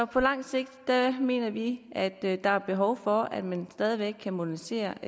på lang sigt mener vi at der er behov for at man stadig væk kan modernisere